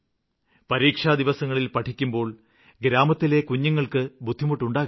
പരീക്ഷാദിവസങ്ങളില് പഠിക്കുമ്പോള് ഗ്രാമത്തിലെ കുഞ്ഞുങ്ങള്ക്കും ബുദ്ധിമുട്ടുണ്ടാകരുത്